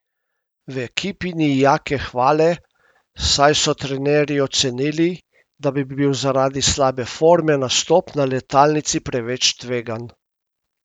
V ekipi ni Jake Hvale, saj so trenerji ocenili, da bi bil zaradi slabe forme nastop na letalnici preveč tvegan.